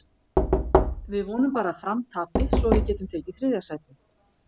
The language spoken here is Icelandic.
Við vonum bara að Fram tapi svo við getum tekið þriðja sætið.